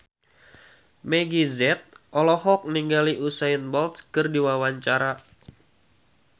Meggie Z olohok ningali Usain Bolt keur diwawancara